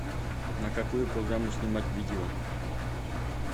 на какую программу снимать видео